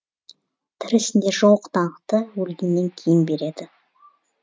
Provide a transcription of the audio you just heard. тірісінде жоқ даңқты өлгеннен кейін береді